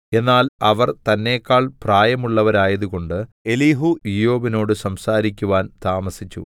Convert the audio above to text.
എന്നാൽ അവർ തന്നെക്കാൾ പ്രായമുള്ളവരായതുകൊണ്ട് എലീഹൂ ഇയ്യോബിനോട് സംസാരിക്കുവാൻ താമസിച്ചു